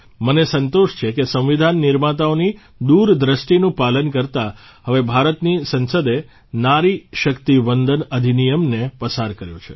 મને સંતોષ છે કે સંવિધાન નિર્માતાઓની તે દૂરદૃષ્ટિનું પાલન કરતાં હવે ભારતની સંસદે નારી શક્તિ વંદન અધિનિયમને પસાર કર્યો છે